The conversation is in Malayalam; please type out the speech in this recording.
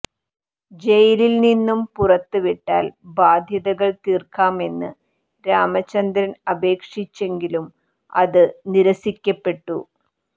ജയിലിൽ നിന്നും പുറത്ത് വിട്ടാൽ ബാധ്യതകൾ തീർക്കാമെന്ന് രാമചന്ദ്രൻ അപേക്ഷിച്ചെങ്കിലും അത് നിരസിക്കപ്പെട്ടു